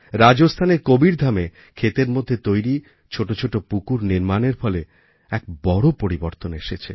রাজস্থানের কবিরধামে ক্ষেতের মধ্যে তৈরি ছোটো ছোটো পুকুর নির্মাণের ফলে এক বড় পরিবর্তন এসেছে